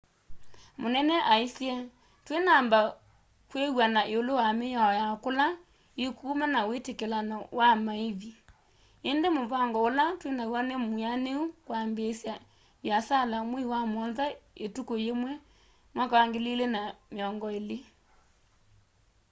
munene aisye twinamba kwiw'ana iulu wa miao ya kula ikuuma na witikilano wa maivi indi muvango ula twinaw'o ni mwianu kwambiisya viasala mwei wa muonza ituku yimwe 2020